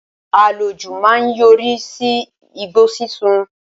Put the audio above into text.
Àlòjù máa ń yọrí sí igbó sísun